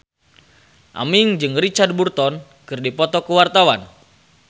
Aming jeung Richard Burton keur dipoto ku wartawan